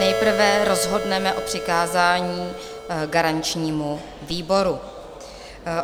Nejprve rozhodneme o přikázání garančnímu výboru.